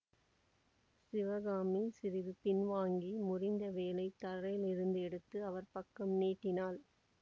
சிவகாமி சிறிது பின்வாங்கி முறிந்த வேலை தரையிலிருந்து எடுத்து அவர் பக்கம் நீட்டினாள்